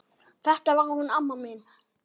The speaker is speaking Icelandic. Þetta var hún amma mín.